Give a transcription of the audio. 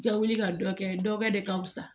I ka wuli ka dɔ kɛ dɔ wɛrɛ de ka wusa